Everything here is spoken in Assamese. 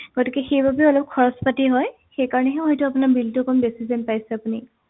গতিকে সেইবাবে অলপ খৰছ পাতি হয় সেইকাৰণেহে হয়তো আপোনাৰ bill টো অকণ বেছি যেন পাইছে আপুনি